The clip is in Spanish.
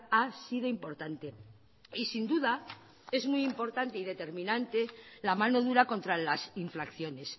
ha sido importante y sin duda es muy importante y determinante la mano dura contra las infracciones